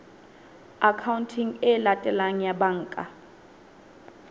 akhaonteng e latelang ya banka